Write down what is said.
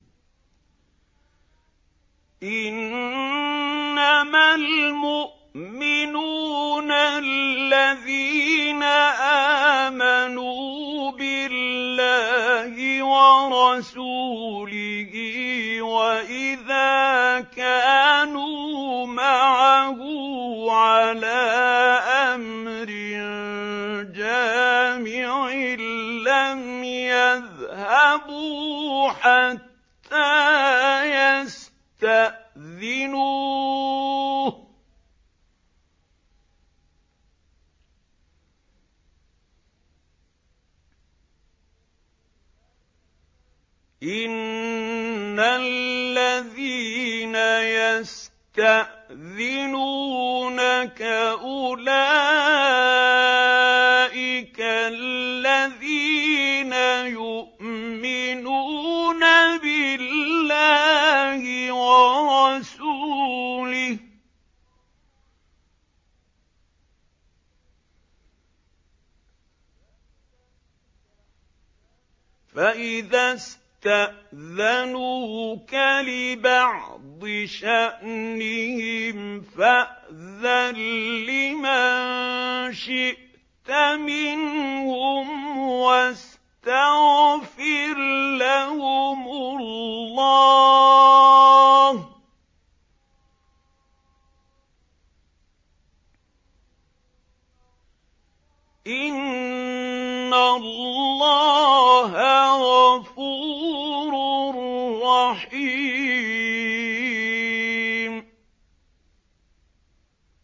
إِنَّمَا الْمُؤْمِنُونَ الَّذِينَ آمَنُوا بِاللَّهِ وَرَسُولِهِ وَإِذَا كَانُوا مَعَهُ عَلَىٰ أَمْرٍ جَامِعٍ لَّمْ يَذْهَبُوا حَتَّىٰ يَسْتَأْذِنُوهُ ۚ إِنَّ الَّذِينَ يَسْتَأْذِنُونَكَ أُولَٰئِكَ الَّذِينَ يُؤْمِنُونَ بِاللَّهِ وَرَسُولِهِ ۚ فَإِذَا اسْتَأْذَنُوكَ لِبَعْضِ شَأْنِهِمْ فَأْذَن لِّمَن شِئْتَ مِنْهُمْ وَاسْتَغْفِرْ لَهُمُ اللَّهَ ۚ إِنَّ اللَّهَ غَفُورٌ رَّحِيمٌ